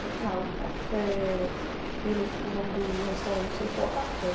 Como é que...h, o café... Ele é, o nome do restaurante é.